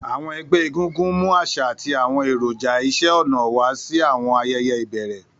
Àwọn ẹgbẹ́ egungun mú àṣà àti àwọn èròjà iṣẹ́-ọnà wá sí àwọn ayẹyẹ ìbẹ̀rẹ̀.